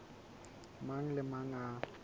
mang le a mang a